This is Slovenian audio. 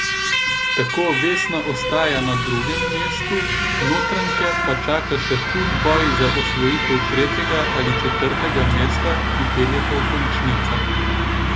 Tako Vesna ostaja na drugem mestu, Notranjke pa čaka še hud boj za osvojitev tretjega ali četrtega mesta, ki peljeta v končnico.